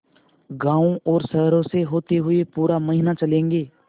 गाँवों और शहरों से होते हुए पूरा महीना चलेंगे